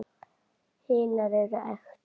Hinar eru ekta.